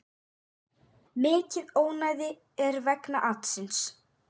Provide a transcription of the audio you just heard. Mikið ónæði er vegna atsins.